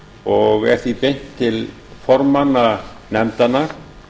og er því beint til formanna nefndanna